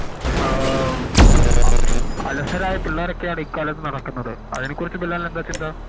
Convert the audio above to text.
ആഹ് അ അലസനായ പിള്ളേരാണ് ഈ കാലത് നടക്കുന്നത് അതിനെക്കുറിച്ചു ബിലാലിന് എന്താ ചിന്ത